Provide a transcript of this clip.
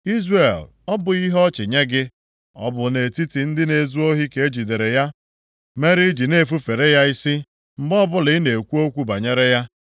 Izrel ọ bụghị ihe ọchị nye gị? Ọ bụ nʼetiti ndị na-ezu ohi ka e jidere ya, mere i ji na-efufere ya isi mgbe ọbụla ị na-ekwu okwu banyere ya?